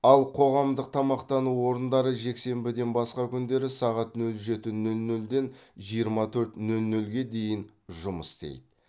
ал қоғамдық тамақтану орындары жексенбіден басқа күндері сағат нөл жеті нөл нөлден жиырма төрт нөл нөлге дейін жұмыс істейді